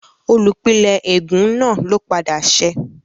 Olùpìnlẹ́ ègún náà ló padà ṣẹ́